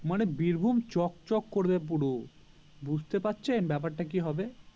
মানে বীরভূম চক চক করবে পুরো বুজতে পারছেন ব্যাপারটা কি হবে